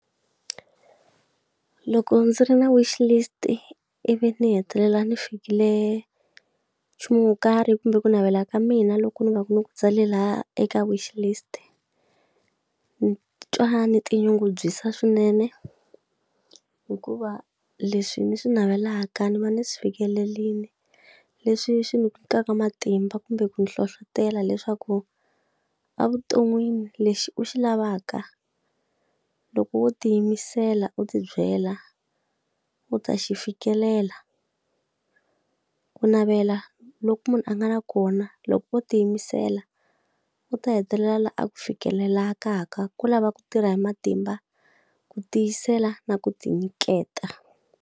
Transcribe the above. Loko ndzi ri na wish list-i ivi ni hetelela ni fikile nchumu wo karhi kumbe ku navela ka mina loku ni va ku ni ku tsale lahaya eka wish list, ni twa ni tinyungubyisa swinene hikuva leswi ni swi navelaka ni va ni swi fikelerile leswi swi ni ku nyikaka matimba kumbe ku ni hlohletela leswaku, evuton'wini lexi u xi lavaka loko wo tiyimisela u tibyela, u ta xi fikelela. Ku navela loku munhu a nga na kona loko o tiyimisela, u ta hetelela laha a ku fikelelaka. Ku lava ku tirha hi matimba, ku tiyisela, na ku tinyiketa.